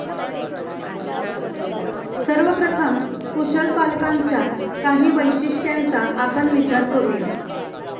सर्वप्रथम, कुशल पालकांच्या काही वैशिष्ट्यांचा आपण विचार करू या.